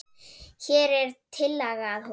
Hér er tillaga að honum.